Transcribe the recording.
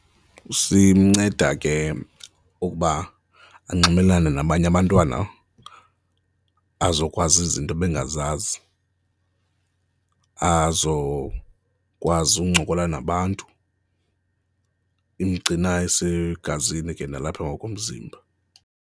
Simnceda ke ukuba anxibelelane nabanye abantwana, azokwazi izinto ebengazazi, azokwazi ukuncokola nabantu, imgcina esegazini ke nalapha ngokomzimba.